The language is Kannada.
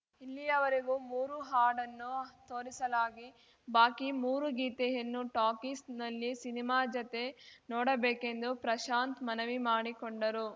ಇಲ್ಲಿಯವರೆಗೂ ಮೂರು ಹಾಡನ್ನು ತೋರಿಸಲಾಗಿ ಬಾಕಿ ಮೂರು ಗೀತೆಯನ್ನು ಟಾಕೀಸ್‌ನಲ್ಲಿ ಸಿನಿಮಾ ಜತೆಗೆ ನೋಡಬೇಕೆಂದು ಪ್ರಶಾಂತ್‌ ಮನವಿ ಮಾಡಿಕೊಂಡರು